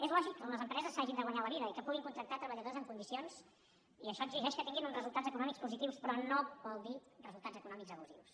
és lògic que les empreses s’hagin de guanyar la vida i que puguin contractar treballadors en condicions i això exigeix que tinguin uns resultats econòmics positius però no vol dir resultats econòmics abusius